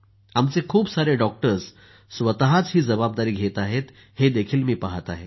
आमचे खूप सारे डॉक्टर्स स्वतःच ही जबाबदारी घेत आहेत हे ही मी पहात आहे